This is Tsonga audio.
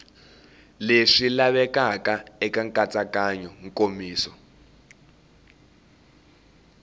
leswi lavekaka eka nkatsakanyo nkomiso